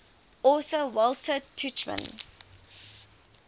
author walter tuchman